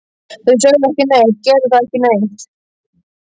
Þau sögðu ekki neitt, gerðu ekki neitt.